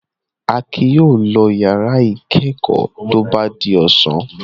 Akin yóò lọ ìyàrá ìkẹ́kọ̀ọ́ tó bá di ọ̀sán.